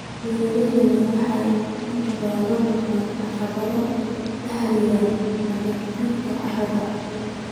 Beeralayda waaweyni waxay inta badan la kulmaan caqabado la xidhiidha nabaad guurka carrada.